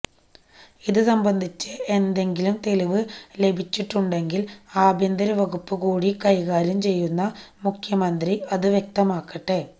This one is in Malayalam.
ഇതുസംബന്ധിച്ച് എന്തെങ്കിലും തെളിവ് ലഭിച്ചിട്ടുണെ്ടങ്കില് ആഭ്യന്തരവകുപ്പ് കൂടി കൈകാര്യം ചെയ്യുന്ന മുഖ്യമന്ത്രി അതു വ്യക്തമാക്കട്ടെ